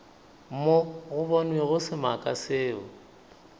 mo go bonwego semaka seo